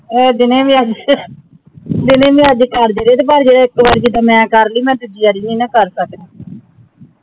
ਆਯ ਦਿਨੇ ਵੀ ਜੋੰ ਅਮ ਦਿਨੇ ਵੀ ਅੱਜ ਕਰ ਦੇ ਰੇ ਪਰ ਪਰ ਜਾਰੀ ਇਤ ਤੋਂ ਵਾਦ ਕੇ ਜਿੱਡਾ ਮੈਂ ਕਰ ਲੀ ਮੈਂ ਦੂਜੀ ਵਾਰੀ ਨਾਈ ਕਰ ਦੀ